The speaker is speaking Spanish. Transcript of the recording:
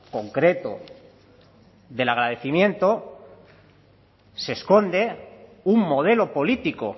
concreto del agradecimiento se esconde un modelo político